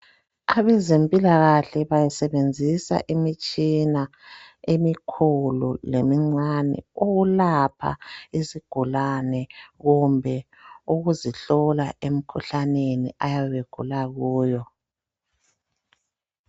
Abezempilakahle basebenzisa imitshina emikhulu lemincane ukulapha izigulane kumbe ukuzihlola emkhuhlaneni ayabe egula kuyo.